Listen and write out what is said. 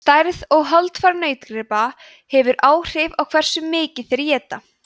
stærð og holdafar nautgripa hefur áhrif á hversu mikið þeir éta